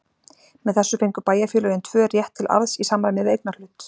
Með þessu fengu bæjarfélögin tvö rétt til arðs í samræmi við eignarhlut.